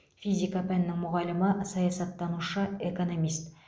физика пәнінің мұғалімі саясаттанушы экономист